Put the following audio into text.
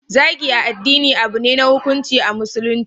Zagin addini abune na hukunci a musulunci